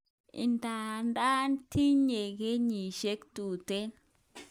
Idadan tinye kenyishek tuten